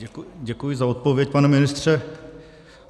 Děkuji za odpověď, pane ministře.